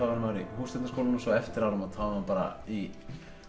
væri maður í Hússtjórnarskólanum og eftir áramót væri maður bara í